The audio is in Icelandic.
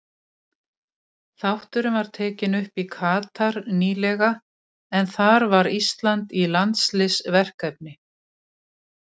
Þátturinn var tekinn upp í Katar nýlega en þar var Ísland í landsliðsverkefni.